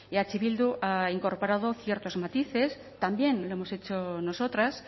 eh bildu ha incorporado ciertos matices también lo hemos hecho nosotras